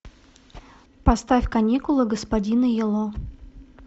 поставь каникулы господина юло